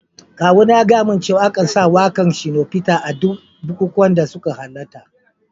Kawuna ya gaya min cewa a kan sa waka'n Shino Peter a duk bikukuwanda suka halatta.